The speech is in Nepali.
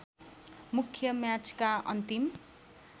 मुख्य म्याचका अन्तिम